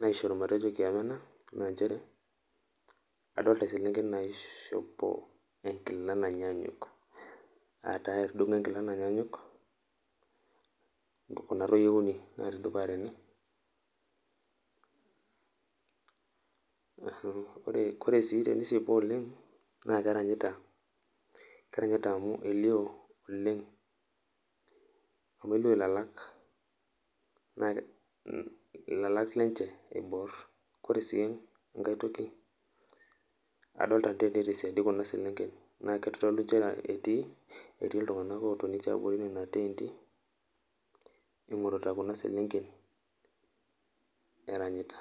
naisharu matejo kiema ana adolita selenken naishopo enkilani nanyanyuk ,aa taaa etudung'o ekila nanyanyuk ntoki natayiolounye naitudupa tene, kore sii tenisipu oleng naa keranyita amu eilioo oleng lalak lenye, ore si enkae toki adolita te siadi kuna selenken etii ltungana ootoni te abori kuna teenti eing'orita kuna selenken erayita